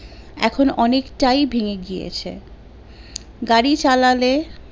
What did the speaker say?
এখন অনেটাই ভেঙে গিয়েছে গাড়ী চালালে